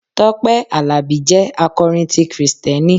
Tọ́pẹ́ Àlàbí jẹ́ akọrin ti Kristẹni.